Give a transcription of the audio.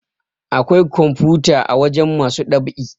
Awkai kwamfuta a wajen masu ɗab'i